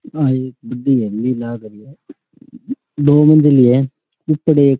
आ एक बड़ी हवेली लाग रही है नो मंजिल है ऊपर एक --